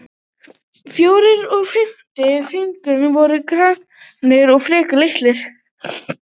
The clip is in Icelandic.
Fjórði og fimmti fingur voru grannir og frekar litlir.